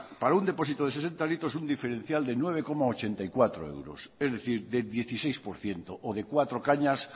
para un depósito de sesenta litros un diferencial de nueve coma ochenta y cuatro euros es decir de dieciséis por ciento o de cuatro cañas